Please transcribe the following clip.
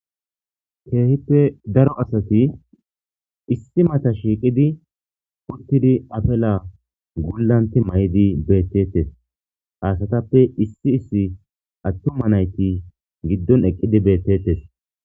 keehippe daro asati issi mata shiiqidi uttidi apela gullanti may7idi beettettes haasatappe issi issi attuma nayti giddon eqqidi beettettes